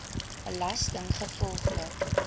belastinggevolglik